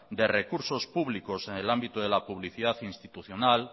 de recursos públicos en el ámbito de la publicidad institucional